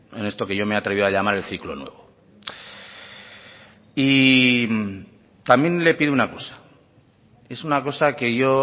en esto que yo me he atrevido a llamar el ciclo nuevo y también le pido una cosa es una cosa que yo